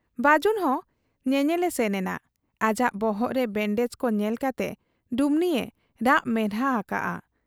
ᱵᱟᱹᱡᱩᱱᱦᱚᱸ ᱧᱮᱧᱮᱞᱮ ᱥᱮᱱ ᱮᱱᱟ ᱾ ᱟᱡᱟᱜ ᱵᱚᱦᱚᱜ ᱨᱮ ᱵᱮᱸᱰᱮᱡᱽ ᱠᱚ ᱧᱮᱞ ᱠᱟᱛᱮ ᱰᱩᱢᱱᱤᱭᱮ ᱨᱟᱜ ᱢᱮᱫᱦᱟ ᱟᱠᱟᱜ ᱟ ᱾